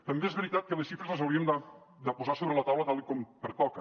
també és veritat que les xifres les hauríem de posar sobre la taula tal com pertoca